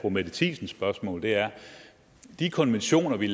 fru mette thiesens spørgsmål er de konventioner vi